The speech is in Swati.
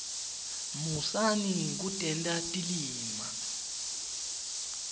musani kutenta tilima